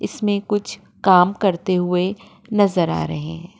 इसमे कुछ काम करते हुये नजर आ रहे हैं।